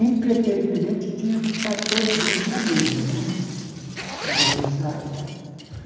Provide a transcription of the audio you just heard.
impreterivamente, tinham que estar todos juntos na mesa não é, para almoçar e tal.